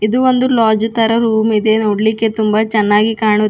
ಇದು ಒಂದು ಲಾಡ್ಜ್ ತರ ರೂಮ್ ಇದೆ ನೋಡ್ಲಿಕೆ ತುಂಬಾ ಚೆನ್ನಾಗಿ ಕಾಣುತಿ--